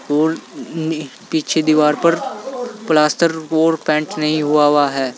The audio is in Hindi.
और नि पीछे दीवार पर प्लास्टर और पेंट नहीं हुआ हुआ है।